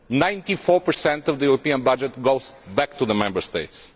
Ninety four percent of the EU budget goes back to the Member States.